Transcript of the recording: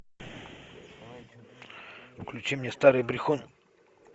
включи мне старый брехун